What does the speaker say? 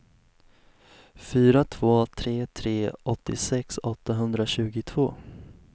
fyra två tre tre åttiosex åttahundratjugotvå